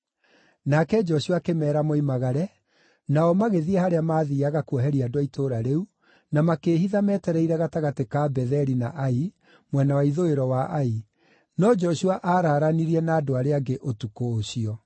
Nake Joshua akĩmeera moimagare, nao magĩthiĩ harĩa maathiiaga kuoheria andũ a itũũra rĩu, na makĩĩhitha metereire gatagatĩ ka Betheli na Ai, mwena wa ithũĩro wa Ai, no Joshua araaranirie na andũ arĩa angĩ ũtukũ ũcio.